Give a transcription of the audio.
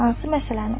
Hansı məsələni?